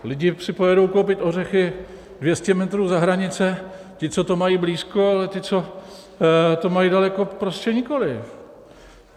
Lidi si pojedou koupit ořechy 200 metrů za hranice, ti, co to mají blízko, ale ti, co to mají daleko, prostě nikoliv.